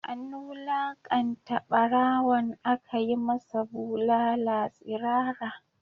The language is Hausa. An wulakanta barawon, aka yi masa bulala tsirara